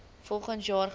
volgens jaar gelys